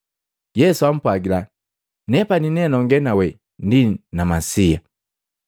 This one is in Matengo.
Yesu ampwagila, “Nepani nenonge nawe, ndi Masiya.”